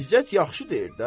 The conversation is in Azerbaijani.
İzzət yaxşı deyir də.